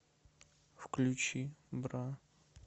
включи бра